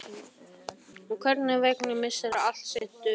Og einhvern veginn missir allt sinn dularfulla lit.